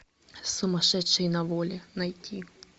сумасшедшие на воле найти